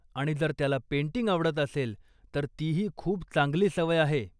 आणि जर त्याला पेंटिंग आवडत असेल, तर तीही खूप चांगली सवय आहे.